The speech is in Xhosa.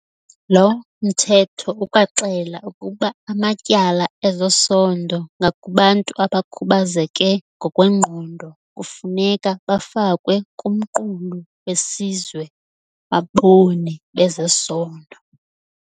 Lo Mthetho ukwaxela ukuba amatyala ezesondo ngakubantu abakhubazeke ngokwengqondo kufuneka bafakwe kuMqulu weSizwe waBoni bezeSondo.